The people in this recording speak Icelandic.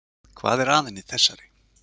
Hvað er að henni þessari?